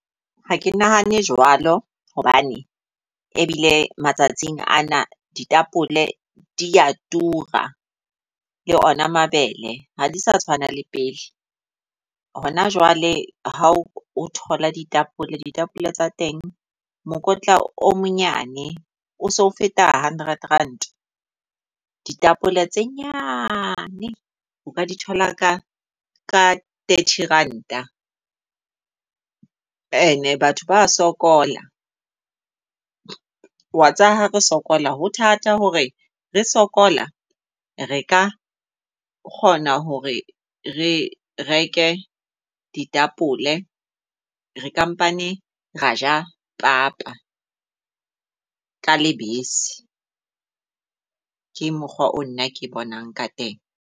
Ha ke nahane jwalo hobane ebile matsatsing ana ditapole dia tura le ona mabele ha di sa tshwana le pele. Hona jwale ha o thola di-tapole, ditapole tsa teng mokotla o monyane o so feta hundred Rand. Ditapole tse nyane o ka di thola ka ka thirty Ranta. E ne batho ba sokola wa tseba ha re sokola ho thata hore re sokola re ka kgona hore re reke ditapole. Re ka pane ra ja papa ka lebese, ke mokgwa o nna ke bonang ka teng.